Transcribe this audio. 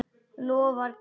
Lofar góðu.